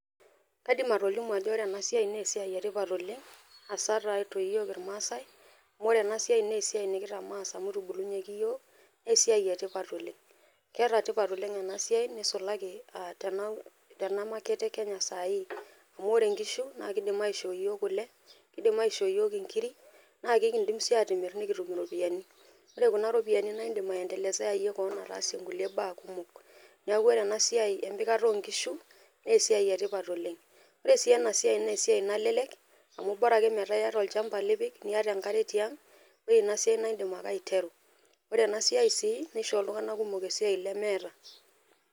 Kaidim atolimu ajo ore ena siai naa esiai etipat oleng , haswa tiatu iyiook irmaasae . Amu ore ena siai naa esiai nekitamoo amu itubulunyieki iyiook naa esiai etipat . Keeta tipat ena siai nisulaki tena market e kenya sahii . Amu ore nkishu naa kidim aishoo yiok kule, nidim aishoo iyiook inkiri naa ekidim sii atimir nikitum iropiyiani. Ore kuna ropiyiani naa indim aendelezeayie kewon naa indim aasie nkulie baa kumok. Niaku ore siai empikata oonkishu naa esiai etipat oleng. Ore sii ena siai naa esiai nalelek amu bora ake metaa iyaata olchamba lipik, niata enkare tiang, ore ina siai naa indim ake aiteru . Ore ena siai sii nishoo iltunganak kumok esiai lemeeta .